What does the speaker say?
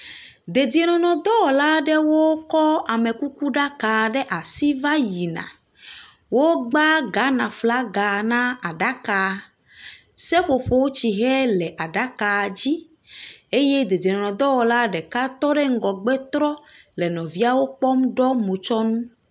Dedienŋnŋdɔwɔla aɖewo kɔ amekukuɖaka ɖe asi va yi na. wogba Ghanaflaga na aɖaka. Seƒoƒotsixe le aɖaka dzi eye dedienɔnɔdɔwɔla ɖeka tɔ ɖe ŋgɔgbe trɔ le nɔviawo kpɔm ɖɔ motsɔnu.